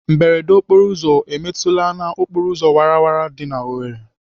Mberede okporoụzọ emetụla n'okporoụzọ wara wara dị n'Owerri?